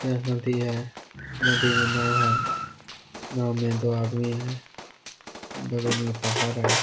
यह नदी है नदी में नाव है नाव में दो आदमी है बगल में पहाड़ है।